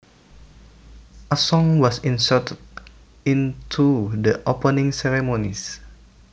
A song was inserted into the opening ceremonies